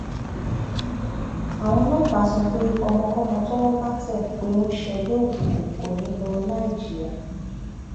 àwọn ọlọpàá sọ pé ọmọkọmọ tọwọ bá tẹ pé ó ń ṣègbè òkùnkùn kò ní í lọ láì jìyà